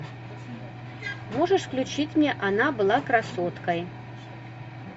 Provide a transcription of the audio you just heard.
можешь включить мне она была красоткой